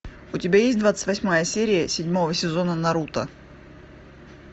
у тебя есть двадцать восьмая серия седьмого сезона наруто